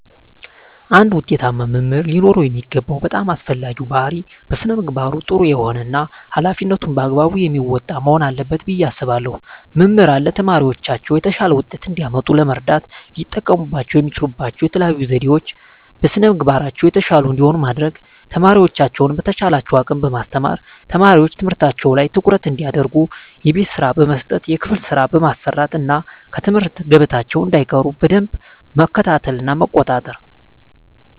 አንድ ውጤታማ መምህር ሊኖረው የሚገባው በጣም አስፈላጊው ባህሪይ በስነ ምግባሩ ጥሩ የሆነ እና ሀላፊነቱን በአግባቡ የሚወጣ መሆን አለበት ብየ አስባለሁ። መምህራን ለተማሪዎቻቸው የተሻለ ውጤት እንዲያመጡ ለመርዳት ሊጠቀሙባቸው የሚችሉባቸው የተለዩ ዘዴዎች - በስነ ምግባራቸው የተሻሉ እንዲሆኑ ማድረግ፣ ተማሪዎቻቸውን በተቻላቸው አቅም በማስተማር፣ ተማሪዎች ትምህርታቸው ላይ ትኩረት እንዲያደርጉ የቤት ስራ በመስጠት የክፍል ስራ በማሰራት እና ከትምህርት ገበታቸው እንዳይቀሩ በደንብ መከታተልና መቆጣጠር።